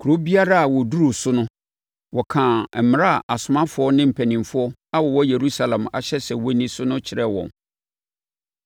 Kuro biara a wɔduruu so no, wɔkaa mmara a asomafoɔ ne mpanimfoɔ a wɔwɔ Yerusalem ahyɛ sɛ wɔnni so no kyerɛɛ wɔn.